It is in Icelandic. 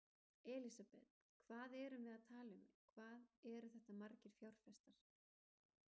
Elísabet: Hvað erum við að tala um, eru þetta margir fjárfestar?